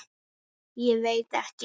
Ég veit ekki?